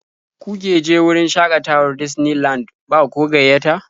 Kuke je wurin shaƙatawar Disney Land ba ko gayyata?